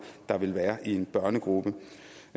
der vil være en børnegruppe